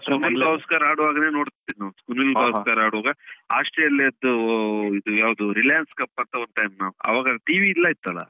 ಸುನಿಲ್ ಗವಾಸ್ಕರ್ ಆಡುವಾಗ್ಲೆ ನೋಡ್ತಿದ್ದವ್ರು ಸುನಿಲ್ ಗವಾಸ್ಕರ್ ಆಡುವಾಗ Australia ಯದ್ದೂ ಇದು ಯಾವುದು Reliance cup ಅಂತ ಒಂದು ಆವಾಗ TV ಇಲ್ಲ ಇತ್ತಲ್ಲ.